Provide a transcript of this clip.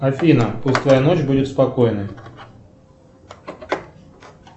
афина пускай ночь будет спокойной